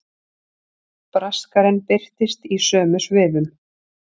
Braskarinn birtist í sömu svifum.